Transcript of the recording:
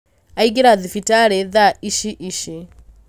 Aingĩra thibitarĩ thaa Ici ici